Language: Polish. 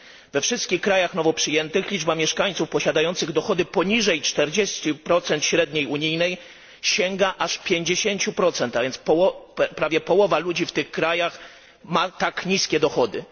We wszystkich krajach nowo przyjętych liczba mieszkańców posiadających dochody poniżej 40 średniej unijnej sięga aż 50, a więc prawie połowa ludzi w tych krajach ma tak niskie dochody.